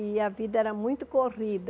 E a vida era muito corrida.